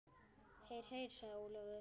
Heyr, heyr sagði Ólafur.